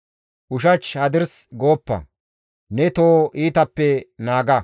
Ushach hadirsi gooppa; ne toho iitappe naaga.